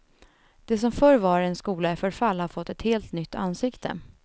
Det som förr var en skola i förfall har fått ett helt nytt ansikte.